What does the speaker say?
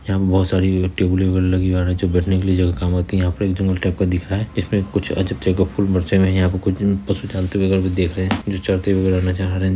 यहाँ बहुत सारी टेबुले - उबुले लगी है बैठने के लिए जगह काम आती है यहाँ पे एक जंगल टाइप का दिख रहा है इसमें कुछ अजब तरह का फूल बरसे हुए हैं यहाँ कुछ पशु वगैरा देख रहे है यहाँ जो चरते हुए का नज़ारा --